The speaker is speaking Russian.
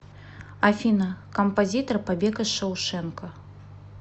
афина композитор побег из шоушенка